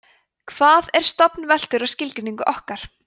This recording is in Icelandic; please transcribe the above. hvað er stofn veltur á skilgreiningu okkar